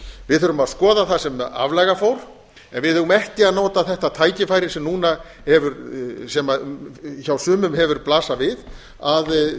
við þurfum að skoða það sem aflaga fór en við eigum ekki að nota það tækifæri sem hjá sumum hefur blasað að